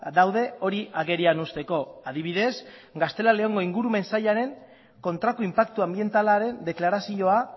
daude hori agerian uzteko adibidez gaztela leongo ingurumen sailaren kontrako inpaktu anbientalaren deklarazioa